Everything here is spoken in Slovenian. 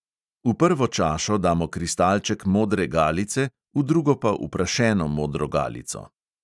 V prvo čašo damo kristalček modre galice, v drugo pa uprašeno modro galico.